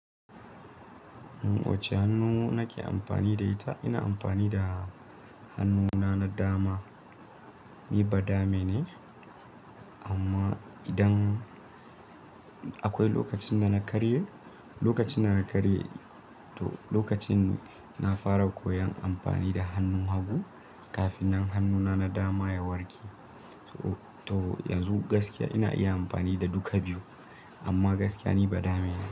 Um wacehannu nake amfani da ita? Ina amfani da hannuna na dama. Ni ba dame ne, amma idan akwai lokacin da na karye, lokacin na karye to lokacin na fara koyon amfani da hannun hagu kafin nan hannuna na dama ya warke. To, yanzu gaskiya ina iya amfani da duka biyu, amma gaskiya ni ba dame ne.